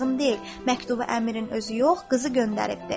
Məktubu əmirin özü yox, qızı göndəribdir.